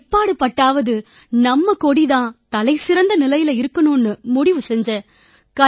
எப்பாடு பட்டாவது நம்ம கொடி தான் தலைசிறந்த நிலையில இருக்கணும்னு முடிவு செஞ்சேன்